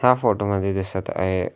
या फोटो मध्ये दिसत आहे--